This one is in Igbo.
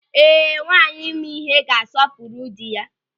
Ee, nwaanyị ma ịhe ga-asọpụrụ dị ya.